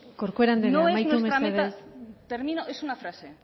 corcuera anderea amaitu mesedez termino es una frase